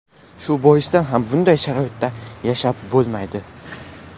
Shu boisdan ham bunday sharoitda yashab bo‘lmaydi.